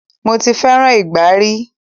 Mo ti fẹràn ìgbá ri.